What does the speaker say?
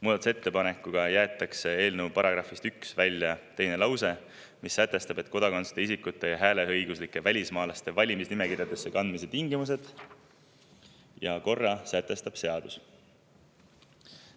Muudatusettepanekuga jäetakse eelnõu §‑st 1 välja teine lause, mis sätestab, et kodakondsuseta isikute ja hääleõiguslike välismaalaste valimisnimekirjadesse kandmise tingimused ja korra sätestab seadus.